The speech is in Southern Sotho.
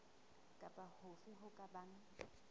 kapa hofe ho ka bang